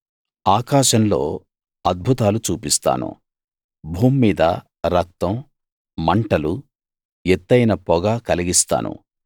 ఆకాశంలో అద్భుతాలు చూపిస్తాను భూమ్మీద రక్తం మంటలు ఎత్తయిన పొగ కలిగిస్తాను